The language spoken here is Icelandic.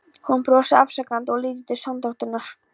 Hún brosir afsakandi og lítur til sonardótturinnar.